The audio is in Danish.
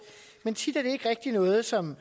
men tit er det ikke rigtig noget som